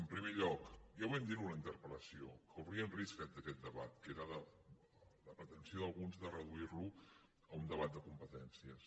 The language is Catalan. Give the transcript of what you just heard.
en primer lloc ja ho vam dir en la interpel·lació corria un risc aquest debat que era la pretensió d’alguns de reduir lo a un debat de competències